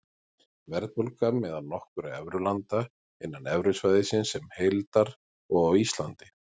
Verðbólga meðal nokkurra evrulanda, innan evrusvæðisins sem heildar og á Íslandi.